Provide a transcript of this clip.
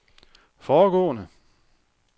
foregående